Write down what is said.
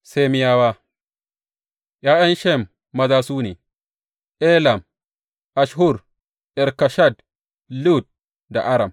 Semiyawa ’Ya’yan Shem maza su ne, Elam, Asshur, Arfakshad, Lud da Aram.